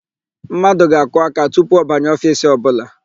Mmadụ ga-akụ aka tupu ọ banye ofiisi ọbụla.